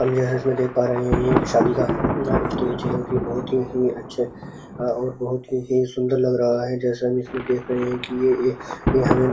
और यह जो देख पा रहे हैं ये एक शादी का स्टेज है। ये बहोत ही अच्छे और बहोत ही सुन्दर लग रहा है। जैसा कि इसमें देख रहे हैं ये एक ये हमें --